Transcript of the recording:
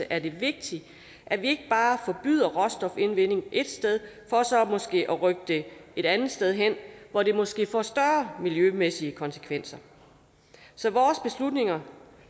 er det vigtigt at vi bare forbyder råstofindvinding et sted for så måske at rykke det et andet sted hen hvor det måske får større miljømæssige konsekvenser så vores beslutninger